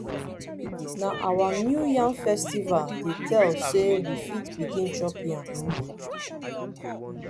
na our new yam festival dey tell sey we fit begin chop yam.